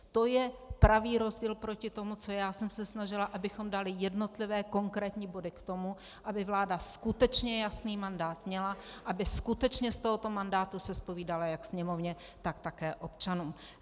To je pravý rozdíl proti tomu, co já jsem se snažila, abychom dali jednotlivé konkrétní body k tomu, aby vláda skutečně jasný mandát měla, aby skutečně z tohoto mandátu se zpovídala jak Sněmovně, tak také občanům.